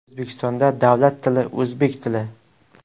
O‘zbekistonda davlat tili o‘zbek tili.